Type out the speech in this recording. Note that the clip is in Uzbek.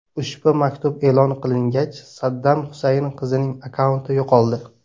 Ushbu maktub e’lon qilingach Saddam Husayn qizining akkaunti yo‘qoldi.